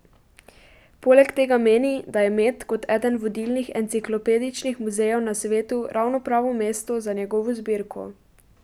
Poleg tega meni, da je Met kot eden vodilnih enciklopedičnih muzejev na svetu ravno pravo mesto za njegovo zbirko.